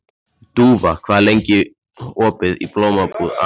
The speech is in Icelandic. Dúfa, hvað er opið lengi í Blómabúð Akureyrar?